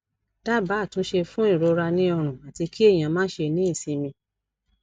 daba atunse fun irora ni ọrun ati ki eyan ma se ni isinmi